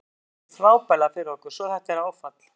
Mark hefur leikið frábærlega fyrir okkur svo þetta er áfall.